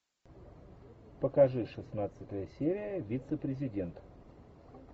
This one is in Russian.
покажи шестнадцатая серия вице президент